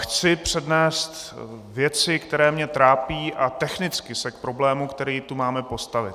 Chci přednést věci, které mě trápí, a technicky se k problému, který tu máme, postavit.